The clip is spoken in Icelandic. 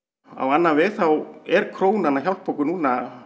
á annan veg þá er krónan að hjálpa okkur núna